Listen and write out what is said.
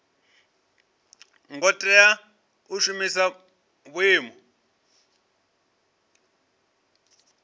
ngo tea u shumisa vhuimo